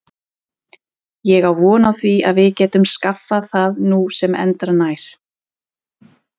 Ég á von á því að við getum skaffað það nú sem endranær.